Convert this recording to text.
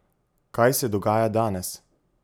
Kaj se dogaja danes?